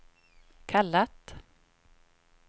kallat